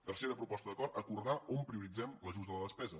tercera proposta d’acord acordar on prioritzem l’ajust de la despesa